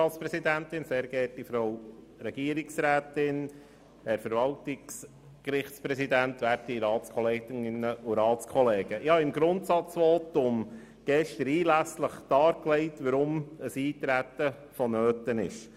Ich habe in meinem Grundsatzvotum gestern einlässlich dargelegt, weshalb ein Eintreten vonnöten ist.